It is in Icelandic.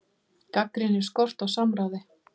Gagnrýnir skort á samráði